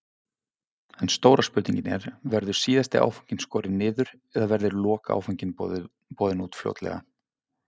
En stóra spurningin er, verður síðasti áfanginn skorinn niður eða verður lokaáfanginn boðinn út fljótlega?